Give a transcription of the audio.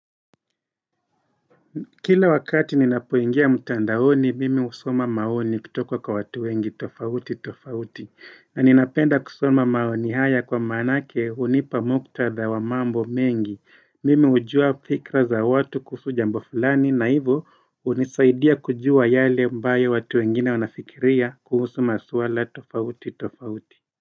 Kila wakati nina poingia mtandaoni, mimi husoma maoni kutoka kwa watu wengi tofauti tofauti. Na ninapenda kusoma maoni haya kwa manake hunipa muktadha wa mambo mengi. Mimi hujua fikra za watu kuhusu jambo fulani na hivo hunisaidia kujua yale ambayo watu wengine wanafikiria kuhusu maswala tofauti tofauti.